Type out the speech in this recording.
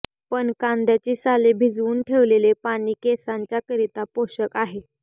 पण कांद्याची साले भिजवून ठेवलेले पाणी केसांच्या करिता पोषक आहे